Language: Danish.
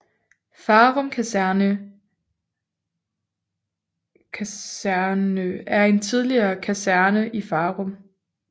Farum Kaserne er en tidligere kaserne i Farum